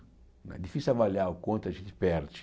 É difícil avaliar o quanto a gente perde.